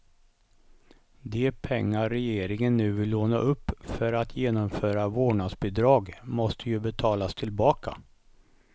De pengar regeringen nu vill låna upp för att genomföra vårdnadsbidrag måste ju betalas tillbaka.